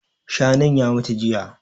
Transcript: Shanun ya mutu jiya